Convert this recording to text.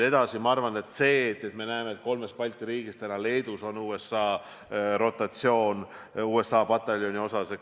Mis puutub kolme Balti riiki, siis Leedus oli roteerumise korras USA pataljon.